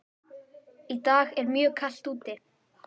Í dag er mjög kalt úti.